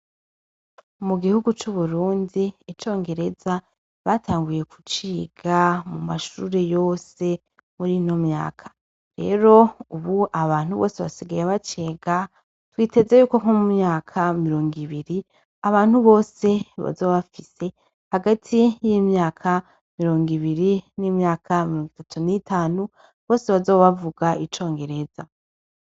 Mu gihugu c'uburundi icongereza batanguye kuciga mu mashuure yose muri no myaka rero, ubu abantu bose basigaye bacega twiteze yuko nko mu myaka mirongo ibiri abantu bose bazobafise hagati y'imyaka mirungo ibiri n'imyaka mirunga itatu n'itanu bose bazobavuga icongereza.